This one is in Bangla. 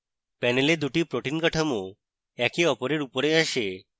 panel দুটি protein কাঠামো অপরের একে উপরে আসে